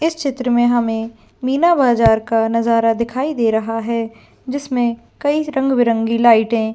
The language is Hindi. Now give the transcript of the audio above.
इस चित्र में हमें मीना बाजार का नजरा भी दिखाई दे रहा है जिसमें कई रंग बिरंगी लाइटे --